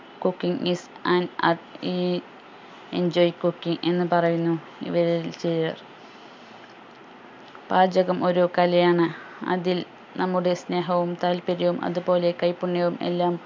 cooking is an art uh enjoy cooking എന്ന് പറയുന്നു ഇവരിൽ ചിലർ പാചകം ഒരു കലയാണ് അതിൽ നമ്മുടെ സ്നേഹവും താല്പര്യവും അതുപോലെ കൈപുണ്യവും എല്ലാം